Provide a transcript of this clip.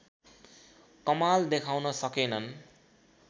कमाल देखाउन सकेनन्